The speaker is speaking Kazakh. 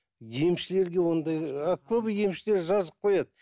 емшілерге ондай ы көбі емшілер жазып қояды